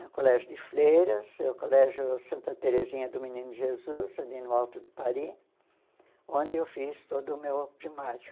No colégio de Freiras, o colégio Santa Terezinha do Menino Jesus, ali no alto do Pari, onde eu fiz todo o meu primário.